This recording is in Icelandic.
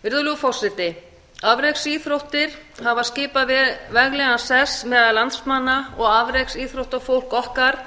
virðulegur forseti afreksíþróttir hafa skipað veglegan sess meðal landsmanna og afreksíþróttafólk okkar